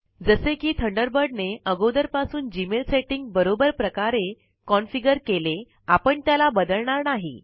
जसे कि थंडरबर्ड ने अगोदरपासून जीमेल सेटिंग बरोबर प्रकारे कॉन्फ़िगर केले आपण त्याला बदलणार नाही